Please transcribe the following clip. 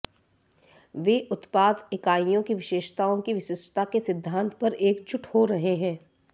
वे उत्पाद इकाइयों की विशेषताओं की विशिष्टता के सिद्धांत पर एकजुट हो रहे हैं